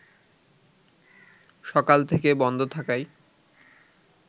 সকাল থেকে বন্ধ থাকায়